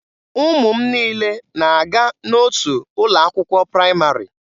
Ụmụ m niile na-aga n'otu ụlọ akwụkwọ praịmarị.